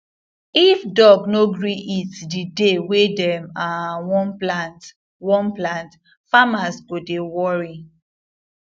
if dog no gree eat the day wey dem um wan plant wan plant farmers go dey worry